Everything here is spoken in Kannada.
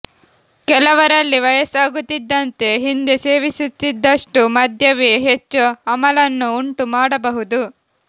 ಕೆಲವರಲ್ಲಿ ವಯಸ್ಸಾಗುತ್ತಿದ್ದಂತೆ ಹಿಂದೆ ಸೇವಿಸುತ್ತಿದ್ದಷ್ಟು ಮದ್ಯವೇ ಹೆಚ್ಚು ಅಮಲನ್ನು ಉಂಟು ಮಾಡಬಹುದು